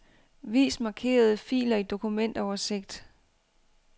Vis markerede filer i dokumentoversigt.